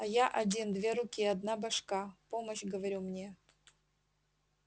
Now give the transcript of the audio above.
а я один две руки одна башка помощь говорю мне